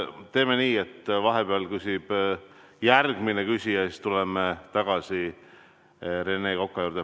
Teeme nii, et vahepeal küsib järgmine küsija ja siis tuleme tagasi Rene Koka juurde.